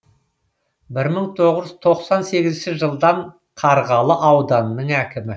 бір мың тоғыз жүз тоқсан сегізінші жылдан қарғалы ауданының әкімі